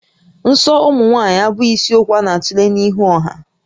Nsọ ụmụ nwaanyị abụghị isiokwu a na-atule n'ihu ọha